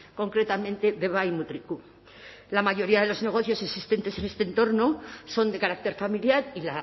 concretamente deba y mutriku la mayoría de los negocios existentes en este entorno son de carácter familiar y